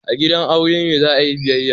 A gidan aure ne za a yi biyayya.